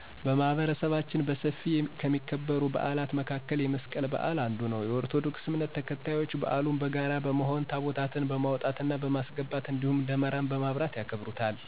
በማህበረሰባችን በሰፊ ከሚከበር በዓል መካከል የመስቀል በዓል አንዱ ነው። የኦርቶዶክስ እምነት ተከታዮች በዓሉን በጋራ በመሆን ታቦታትን በማውጣት እና በማስገባት እንዲሁም ደመራ በማብራት ያከብሩታል።